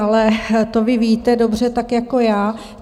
Ale to vy víte dobře tak jako já.